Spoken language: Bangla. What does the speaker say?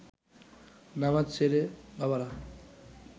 নামাজ সেরে বাবারা